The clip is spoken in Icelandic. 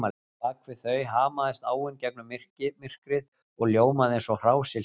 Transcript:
Bak við þau hamaðist áin gegnum myrkrið og ljómaði eins og hrásilki